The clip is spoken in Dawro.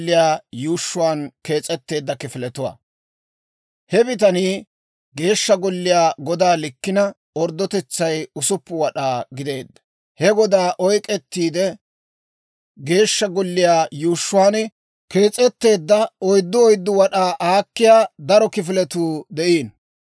He bitanii Geeshsha Golliyaa godaa likkina orddotetsay 6 wad'aa gideedda. He godaana oyk'k'ettiide, Geeshsha Golliyaa yuushshuwaan kees'etteedda oyddu oyddu wad'aa aakkiyaa daro kifiletuu de'iino.